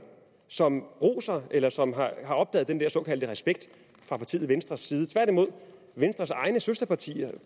som roser eller som har opdaget den der såkaldte respekt fra partiet venstres side tværtimod venstres egne søsterpartier